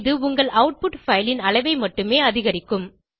இது உங்கள் output file ன் அளவை மட்டுமே அதிகரிக்கும்